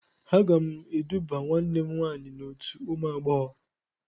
Aga m eduba nwanne m nwaanyị n'otu ụmụ agbọghọ.